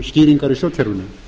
skýringar í stjórnkerfinu